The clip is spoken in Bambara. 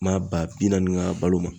Maa ba bi naani ka balo ma.